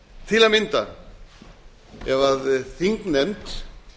til að mynda ef þingnefnd